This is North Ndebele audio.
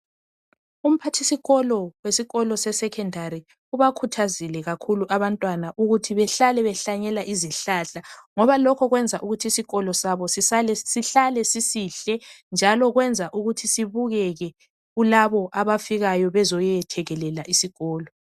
Umphathisikolo sesikolo sesecondary ubakhuthazile kakhulu abantwana behlale behlanyela izihlahla ngoba lokho kwenza isikolo sabo sihlale sisihle njalo kwenza ukuthi sibukeke kulabo abafikayo bezo yethekelela isikolo